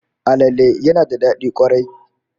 Alale yana da dadi kwarai